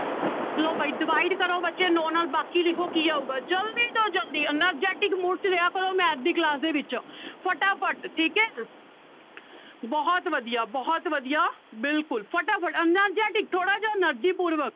ਲਓ ਬਾਈ divide ਕਰੋ ਬੱਚੇ ਨੋਂ ਨਾਲ ਬਾਕੀ ਲਿਖੋ ਕੀ ਆਊਗਾ ਜ਼ਲਦੀ ਤੋਂ ਜ਼ਲਦੀ energetic mood 'ਚ ਰਿਹਾ ਕਰੋ math ਦੀ class ਦੇ ਵਿੱਚ ਫਟਾਫਟ ਠੀਕ ਹੈ ਬਹੁਤ ਵਧੀਆ ਬਹੁਤ ਵਧੀਆ ਬਿਲਕੁਲ ਫਟਾਫਟ energetic ਥੋੜ੍ਹਾ ਜਿਹਾ energy ਪੂਰਵਕ।